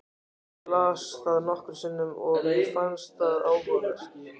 Ég las það nokkrum sinnum og mér fannst það áhugavert.